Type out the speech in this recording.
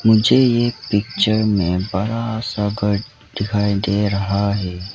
मुझे ये पिक्चर में बड़ा सा घर दिखाई दे रहा है।